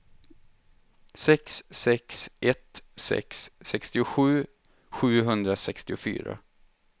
sex sex ett sex sextiosju sjuhundrasextiofyra